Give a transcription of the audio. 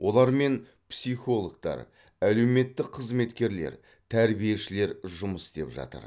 олармен психологтар әлеуметтік қызметкерлер тәрбиешілер жұмыс істеп жатыр